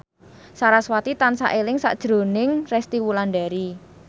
sarasvati tansah eling sakjroning Resty Wulandari